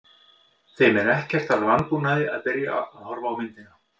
Þeim er ekkert að vanbúnaði að byrja að horfa á myndina.